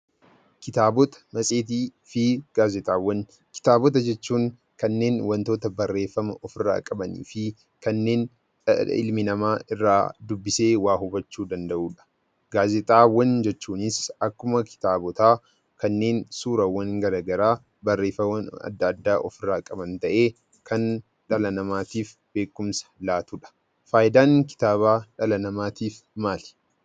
Kitaabota, matseetii fi gaazexaawwan Kitaabota jechuun kanneen wantoota barreeffama of irraa qabanii fi kanneen ilmi namaa irraa dubbisee waa hubachuu danda'uu dha. Gaazexaawwan jechuunis akkuma kitaabotaa, kanneen suuraawwan garaagaraa, barreeffama adda addaa of irraa ta'ee kan dhala namaatiif beekumsa laatuu dha. Faayidaan kitaabaa dhala namaatiif maali?